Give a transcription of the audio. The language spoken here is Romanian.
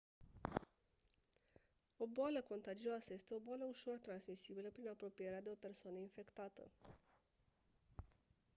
o boală contagioasă este o boală ușor transmisibilă prin apropierea de o persoană infectată